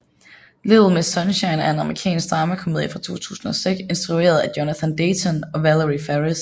Little Miss Sunshine er en amerikansk dramakomediefilm fra 2006 instrueret af Jonathan Dayton og Valerie Faris